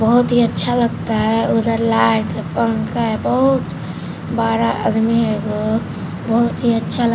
बहुत ही अच्छा लगता है उधर लाइट पंखे बहुत बड़ा आदमी होगा बहुत ही अच्छा--